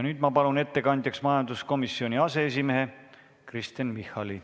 Nüüd ma palun ettekandjaks majanduskomisjoni aseesimehe Kristen Michali.